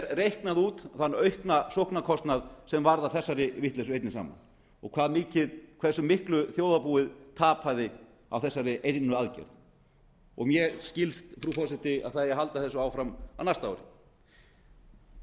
reiknað út þann aukna sóknarkostnað sem varð af þessari vitleysu einni saman og hversu miklu þjóðarbúið tapaði á þessari einu aðgerð og mér skilst frú forseti að það eigi að halda þessu áfram á næsta ári